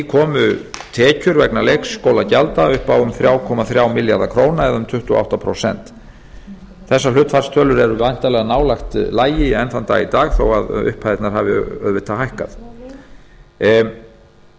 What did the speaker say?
komu tekjur vegna leikskólagjalda upp á um þrjú komma þrjá milljarða króna eða um tuttugu og átta prósenta þessar hlutfallstölur eru væntanlega nálægt lagi enn þann dag í dag þó að upphæðirnar hafi auðvitað hækkað þar